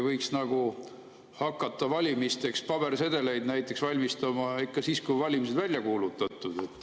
Võiks nagu hakata valimisteks pabersedeleid näiteks valmistama ikka siis, kui valimised on välja kuulutatud.